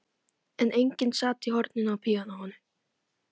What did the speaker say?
En enginn sat í horninu hjá píanóinu.